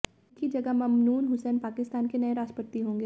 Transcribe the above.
उनकी जगह ममनून हुसैन पाकिस्तान के नए राष्ट्रपति होंगे